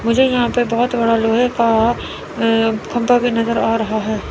मुझे यहां पे बहोत बड़ा लोहे का अं खंभा भी नजर आ रहा है।